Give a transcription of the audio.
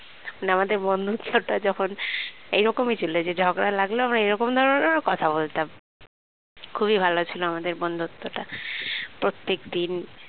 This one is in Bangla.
মানে আমাদের বন্ধুত্বটা যখন এরকমই ছিল যে ঝগড়া লাগলো আবার এরকম ধরনের ও কথা বলতাম খুবই ভালো ছিল আমাদের বন্ধুত্বটা প্রত্যেকদিন